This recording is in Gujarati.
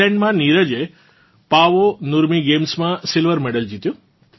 ફિનલેન્ડ માં નીરજે પાવો નુર્મી ગેમ્સ માં સિલ્વર મેડલ જીત્યો